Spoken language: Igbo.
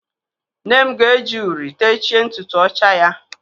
Nnem ga-eji uri techie ntutu ọcha ya.